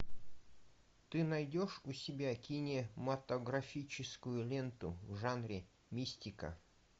ты найдешь у себя кинематографическую ленту в жанре мистика